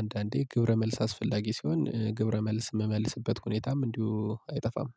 አንዳንዴ ግብረ መልስ አስፈላጊ ሲሆን ግብረ መልስ የምመልስበት ሁኔታም እንዲሁ አይጠፋም።